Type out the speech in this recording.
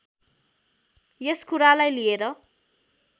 यस कुरालाई लिएर